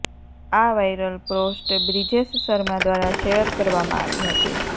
આ viral post Brijesh Sharma દ્વારા share કરવામાં આવી હતી